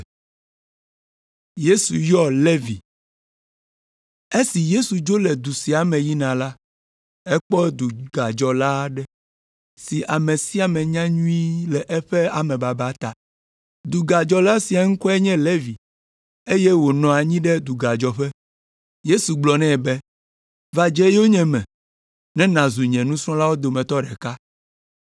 Esi Yesu dzo le du sia me yina la, ekpɔ dugadzɔla aɖe si ame sia ame nya nyuie le eƒe amebaba ta. Dugadzɔla sia ŋkɔe nye Levi eye wònɔ anyi ɖe dugadzɔƒe. Yesu gblɔ nɛ be, “Va dze yonyeme ne nàzu nye nusrɔ̃lawo dometɔ ɖeka.”